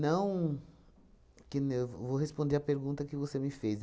que nem eu vou responder a pergunta que você me fez.